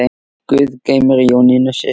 Guð geymi Jónínu systur.